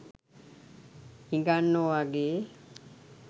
හිඟන්නෝ වගේ